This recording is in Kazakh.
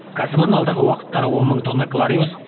кәсіпорын алдағы уақыттары он мың тонна клариус